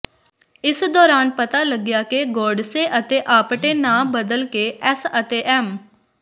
ਇਸ ਦੌਰਾਨ ਪਤਾ ਲੱਗਿਆ ਕਿ ਗੋਡਸੇ ਅਤੇ ਆਪਟੇ ਨਾਂ ਬਦਲ ਕੇ ਐੱਸ ਅਤੇ ਐੱਮ